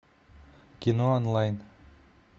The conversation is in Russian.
кино онлайн